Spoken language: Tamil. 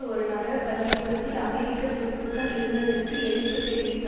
ஒரு நகர பள்ளி கூடத்தில் அமெரிக்க துருப்புக்கள் இருந்ததிற்கு எதிர்ப்பு தெரிவித்து